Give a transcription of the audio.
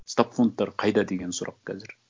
стабфондтар қайда деген сұрақ қазір